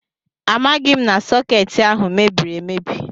Amaghị m na sọkeetị ahụ mebiri emebi